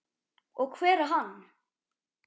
Og hver er hann?